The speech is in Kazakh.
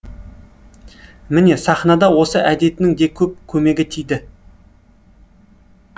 міне сахнада осы әдетінің де көп көмегі тиді